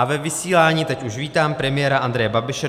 A ve vysílání teď už vítám premiéra Andreje Babiše.